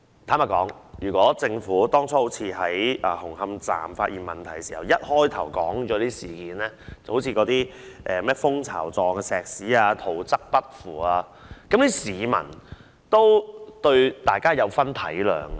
坦白說，如果政府當初好像在紅磡站發現問題般，一開始便把問題說出來，例如混凝土呈蜂巢狀和圖則不符等情況，市民也會體諒。